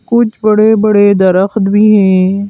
कुछ बड़े-बड़े दरख्त भी हैं।